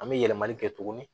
An bɛ yɛlɛmali kɛ tuguni